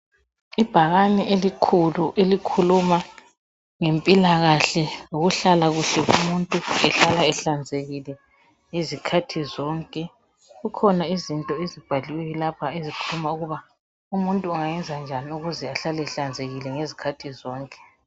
Ibhakane elikhulu elikhuluma ngempilakahle loluhlala komuntu ehlala ehlanzekile izikhathi zonke. Likhona ibhakane lapha elikhuluma ngokuthi umuntu ayanze njani ukuze ahlale ehlanzekile izikhathi zonke.